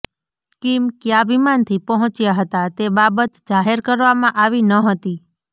Kim ક્યા વિમાનથી પહોંચ્યા હતા તે બાબત જાહેર કરવામાં આવી ન હતી